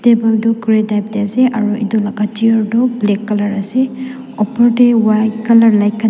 table tu grey type tae ase aro edu laka chair tu black colour ase opor tae white colour la--